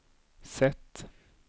sätt